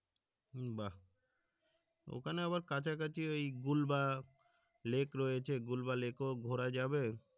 বাহ ওখানে আবার কাছাকাছি ওই গুল্বা লেক রয়েছে গুল্বা লেক ও ঘরা যাবে